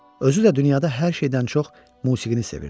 Özü də dünyada hər şeydən çox musiqini sevirdi.